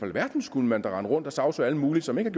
alverden skulle man da rende rundt og sagsøge alle mulige som ikke